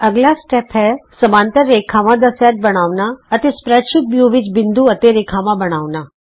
ਅੱਗਲਾ ਸਟੇਪ ਹੈ ਧੁਰੇ ਤੇ ਸਮਾਂਤਰ ਰੇਖਾਵਾਂ ਦਾ ਸੈਟ ਬਣਾਉਣ ਲਈ ਸਪਰੈਡਸ਼ੀਟ ਵਿਉ ਵਿਚ ਬਿੰਦੂ ਅਤੇ ਰੇਖਾਵਾਂ ਬਣਾਉਣਾ